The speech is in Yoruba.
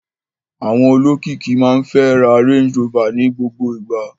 Àwọn olókìkí máa ń fẹ́ ra Range Rover ní gbogbo ìgbà.